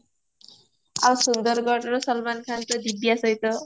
ଆଉ ସୁନ୍ଦରଗଡର ସଲମାନ ଖାନ୍ ତ ଦିବ୍ୟ ସହିତ